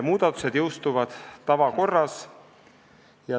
Muudatused jõustuvad tavakorras.